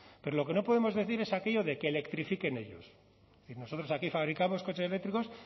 pero lo que no podemos decir es aquello de que electrifiquen ellos y nosotros aquí fabricamos coches eléctricos